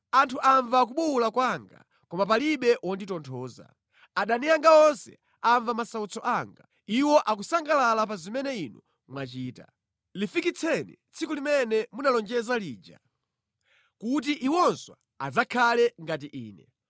“Anthu amva kubuwula kwanga, koma palibe wonditonthoza. Adani anga onse amva masautso anga; iwo akusangalala pa zimene Inu mwachita. Lifikitseni tsiku limene munalonjeza lija kuti iwonso adzakhale ngati ine.